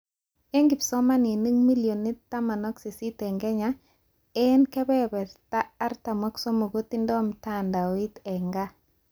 Eng kipsomanink millionit 18 eng Kenya ,eng 43% kotindoi mtandoit eng gaa